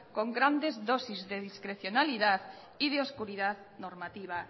con grandes dosis de discrecionalidad y de oscuridad normativa